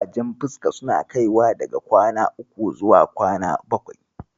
Ƙurajen fuska suna kaiwa daga kwana uku zuwa kwana bakwai.